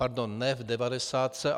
Pardon, ne v devadesátce...